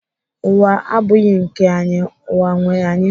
Ụwa abụghị nke anyị, ụwa nwee anyị